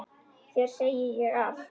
Þér segi ég allt.